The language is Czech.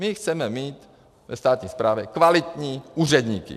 My chceme mít ve státní správě kvalitní úředníky.